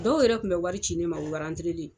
Dɔw yɛrɛ kun be wari ci ne ma, u len.